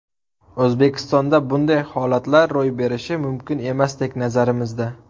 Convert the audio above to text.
O‘zbekistonda bunday holatlar ro‘y berishi mumkin emasdek, nazarimizda.